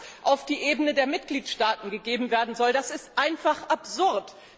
Dass das auf die Ebene der Mitgliedstaaten gegeben werden soll, ist einfach absurd.